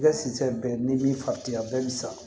I ka si san bɛɛ n'i b'i fari diya bɛɛ bɛ sa